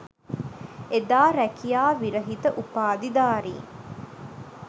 එදා රැකියා විරහිත උපාධිධාරින්